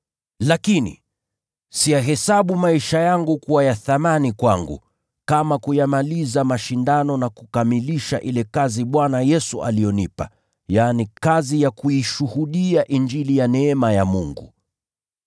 Lakini siyahesabu maisha yangu kuwa ya thamani kwangu, kama kuyamaliza mashindano na kukamilisha ile kazi Bwana Yesu aliyonipa, yaani, kazi ya kuishuhudia Injili ya neema ya Mungu.